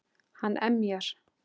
Hann emjar.